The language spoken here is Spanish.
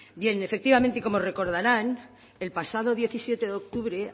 bien efectivamente y como recordarán el pasado diecisiete de octubre